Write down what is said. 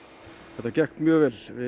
þetta gekk mjög vel við